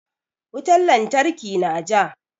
Wutan lantarki na ja.